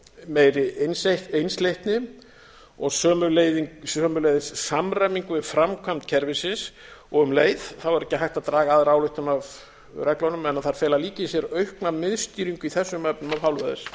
meiri einsleitni og sömuleiðis samræmingu við framkvæmd kerfisins og um leið er ekki hægt að draga aðra ályktun af reglunum en að þær fela líka í sér aukna miðstýringu í þessum efnum af hálfu